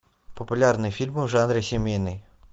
популярные фильмы в жанре семейный